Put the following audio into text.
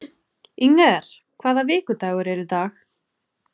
Inger, hvaða vikudagur er í dag?